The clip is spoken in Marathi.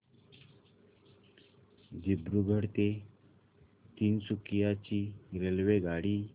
दिब्रुगढ ते तिनसुकिया ची रेल्वेगाडी